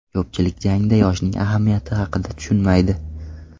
Ko‘pchilik jangda yoshning ahamiyati haqida tushunmaydi.